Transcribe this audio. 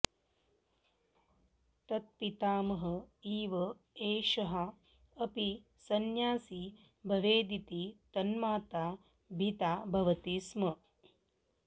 तत्पितामहः इव एषः अपि संन्यासी भवेदिति तन्माता भीता भवति स्म